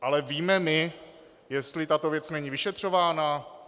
Ale víme my, jestli tato věc není vyšetřována?